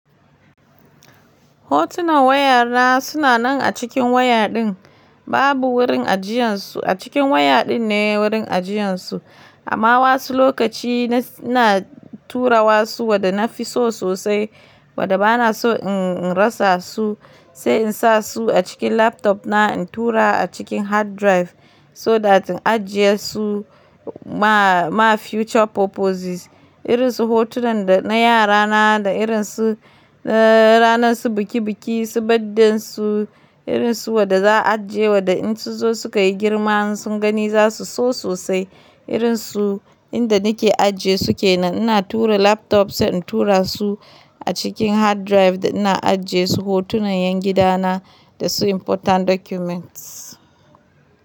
Hotunan wayana suna nan a cikin waya din. Babu wurin ajiyarsu a cikin waya din ne wurin ajiyarsu. Amma wasu lokaci ina turawa su wada na fi so sosai wada bana so in rasa su, sai in sa su a cikin laptop na in tura a cikin hard drive, so that in ajiye su ma, ma future purposes. Irin su hotunan da na yara na da irin su ranar su biki biki, su baddan su, irin su waɗanda za a ajiye waɗanda in su zo suka yi girma sun gani za su so sosai. Irin su inda nake ajiye su ke nan ina tura laptop sai in tura su a cikin hard drive da ina ajiye su hotunan yan gida na da su important documents.